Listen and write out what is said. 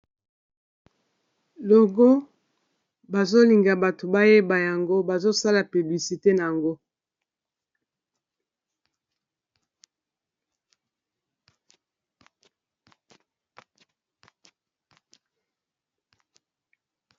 logo bazolinga bato bayeba yango bazosala piblisite na yango